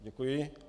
Děkuji.